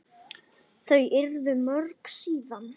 Þau urðu mörg síðan.